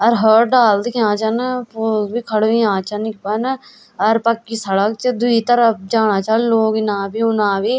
अर होर डाल दिखेणा छन पुल भी खड़ा होया छनइखमा न अर पक्की सड़क च द्वि तरफ जाणा छन लोग इना भी उना भी।